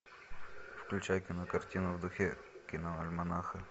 включай кинокартину в духе киноальманаха